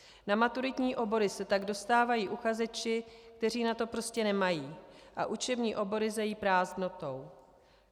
Na maturitní obory se tak dostávají uchazeči, kteří na to prostě nemají, a učební obory zejí prázdnotou.